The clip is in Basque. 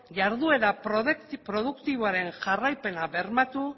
jarduera produktiboaren jarraipena bermatu